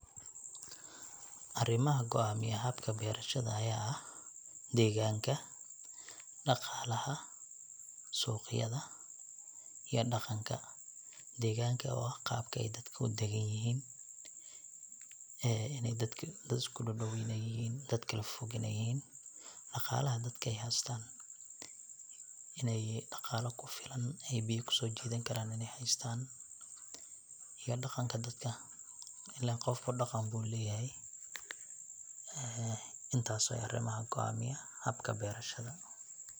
Arimaha goamiya habka berashada aya ah:deeganka, dhaqaalaha, suqyada iyo dhaqanka. Deeganka oo ah qabka ay dadka udegan yihin ee inay dadka dad iskudhodhow ay yihiin iyo dad kala fofog inay yihiin. Dhaqalaha dadka ay haystaan inay yihiin dhaqala dadka kufilan inay haystan waxay biya kusoojidan karaan inay haystaaniyo dhaqanka dadka ilen qofku dhaqan bu leyahay. Ee intaas waye arimaha goamiya habka berashada